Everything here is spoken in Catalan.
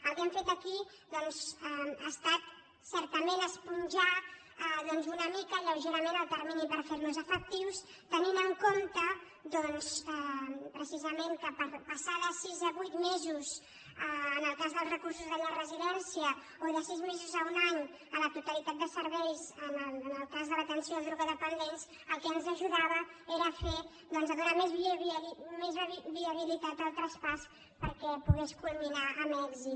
el que hem fet aquí doncs ha estat certament esponjar doncs una mica lleugerament el termini per fer·los efectius tenint en compte precisament que per passar de sis a vuit me·sos en el cas dels recursos de llar residència o de sis mesos a un any a la totalitat de serveis en el cas de l’atenció a drogodependents al que ens ajudava era a fer doncs a donar més viabilitat al traspàs perquè po·gués culminar amb èxit